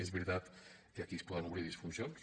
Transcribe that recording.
és veritat que aquí es poden obrir disfuncions